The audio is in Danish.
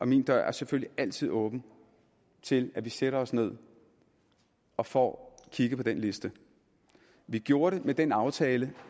min dør selvfølgelig altid er åben til at vi sætter os ned og får kigget på den liste vi gjorde det med den aftale